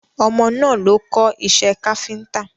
Ọmọ náà lọ kọ́ iṣẹ́ káfíntà.